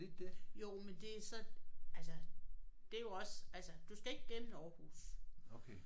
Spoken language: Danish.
Jo men det så altså det er jo også altså du skal ikke gennem Aarhus